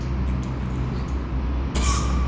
никто мне не нужен